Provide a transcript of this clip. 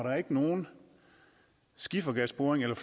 nogen skifergasboring eller